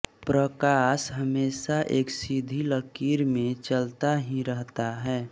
प्रकाश हमेशा एक सीधी लकीर में चलता ही रहता है